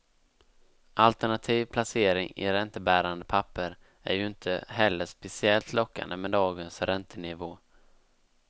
Alternativ placering i räntebärande papper är ju inte heller speciellt lockande med dagens räntenivå.